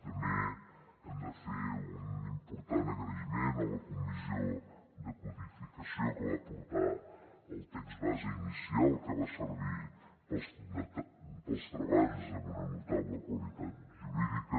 també hem de fer un important agraïment a la comissió de codificació que va aportar el text base inicial que va servir per als treballs amb una notable qualitat jurídica